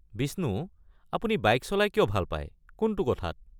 বিষ্ণু, আপুনি বাইক চলাই কিয় ভাল পাই, কোনটো কথাত?